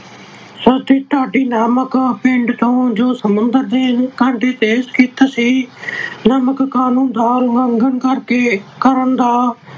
ਡਾਂਡੀ ਨਾਮਕ ਪਿੰਡ ਤੋਂ ਜੋ ਸਮੁੰਦਰ ਦੇ ਕੰਢੇ ਤੇ ਸਥਿਤ ਸੀ, ਨਮਕ ਕਾਨੂੰਨ ਦਾ ਉਲੰਘਣ ਕਰਕੇ, ਕਰਨ ਦਾ